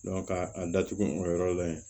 ka a datugu o yɔrɔ la yen